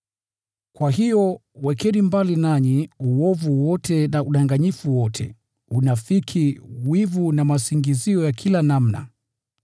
Kwa hiyo, wekeni mbali nanyi uovu wote na udanganyifu wote, unafiki, wivu na masingizio ya kila namna.